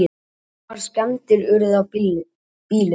Miklar skemmdir urðu á bílunum.